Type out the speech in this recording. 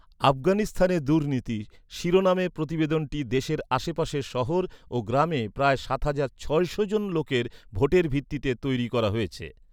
"আফগানিস্তানে দুর্নীতি" শিরোনামে প্রতিবেদনটি দেশের আশেপাশের শহর ও গ্রামে প্রায় সাত হাজার ছশো জন লোকের ভোটের ভিত্তিতে তৈরি করা হয়েছে।